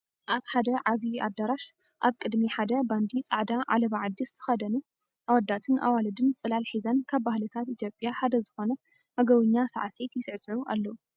ኣብ ሓደ ዓብይ ኣዳራሽ ኣብ ቅድሚ ሓደ ባንዲ ፃዕዳ ዓለባ ዓዲ ዝተኸደኑ ኣወዳትን ኣዋልድን ፅላል ሒዘን ካብ ባህልታት ኢትዮጵያ ሓደ ዝኾነ ኣገውኛ ሳዕሲት ይስዕስዑ ኣለዉ፡፡